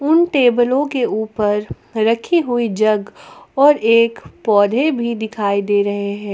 उन टेबलों के ऊपर रखी हुई जग और एक पौधे भी दिखाई दे रहे हैं।